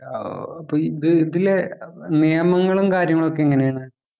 അപ്പൊ ഇത് ഇതിലെ നിയമങ്ങളും കാര്യങ്ങളും ഒക്കെ എങ്ങനെയാണ്?